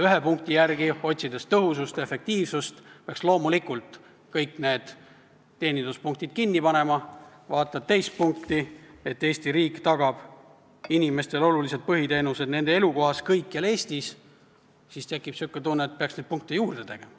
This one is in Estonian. Ühe punkti järgi, otsides tõhusust ja efektiivsust, peaks loomulikult kõik need teeninduspunktid kinni panema, kui vaatad teist punkti, et Eesti riik tagab inimestele olulised põhiteenused nende elukohas kõikjal Eestis, siis tekib tunne, et peaks neid punkte juurde tegema.